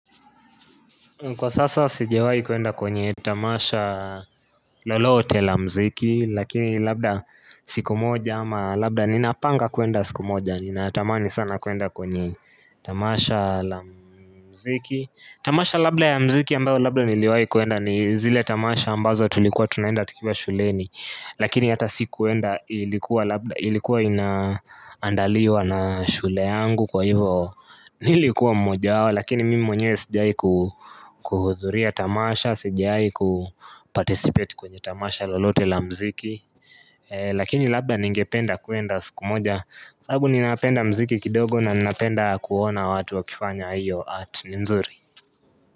Kwa sasa sijiwai kuenda kwenye tamasha lolote la mziki Lakini labda siku moja ama labda nina panga kuenda siku moja Nina tamani sana kuenda kwenye tamasha la mziki Tamasha labda ya mziki ambao labda niliwai kuenda ni zile tamasha ambazo tulikuwa tunaenda tukiwa shuleni Lakini hata si kuenda ilikuwa labda ilikuwa inaandaliwa na shule yangu kwa hivo Nilikuwa mmoja wao lakini mimi mwenyewe sijai kuhudhuria tamasha Sijai kuparticipate kwenye tamasha lolote la mziki Lakini labda ningependa kuenda siku moja sabu ninapenda mziki kidogo na ninapenda kuona watu wakifanya hiyo atu ni nzuri.